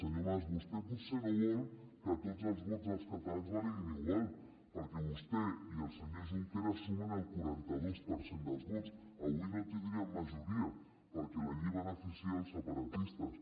senyor mas vostè potser no vol que tots els vots dels catalans valguin igual perquè vostè i el senyor junqueras sumen el quaranta dos per cent dels vots avui no tindrien majoria perquè la llei beneficia els separatistes